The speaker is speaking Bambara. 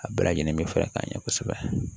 A bɛɛ lajɛlen be fara ka ɲɛ kosɛbɛ